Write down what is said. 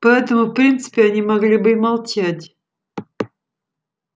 поэтому в принципе они могли бы и молчать